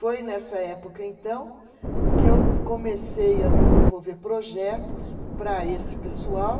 Foi nessa época, então, que eu comecei a desenvolver projetos para esse pessoal,